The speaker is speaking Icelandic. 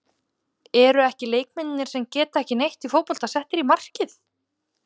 Eru ekki leikmennirnir sem geta ekki neitt í fótbolta settir í markið?